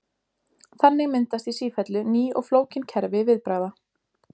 Þannig myndast í sífellu ný og flókin kerfi viðbragða.